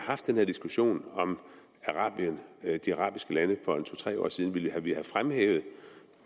haft den her diskussion om de arabiske lande for to tre år siden ville vi have fremhævet